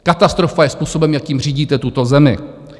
Katastrofa je způsob, jakým řídíte tuto zemi.